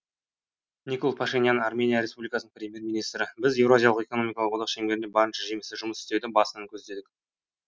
никол пашинян армения республикасының премьер министрі біз еуразиялық экономикалық одақ шеңберінде барынша жемісті жұмыс істеуді басынан көздедік